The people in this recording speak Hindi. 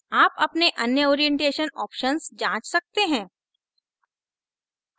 आप अपने अन्य orientation options जाँच सकते हैं